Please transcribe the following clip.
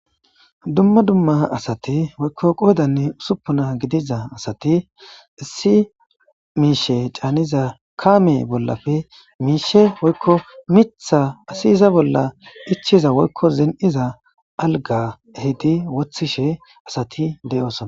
Dumma dumma asati oyikko qoodanne usuppuna gidiza asati issi miishe caaniza kaame bollappe miisha woykko mitha asi iza bolla ichiza woykko ziniiza alga ehidi wothishe asati de'oosona.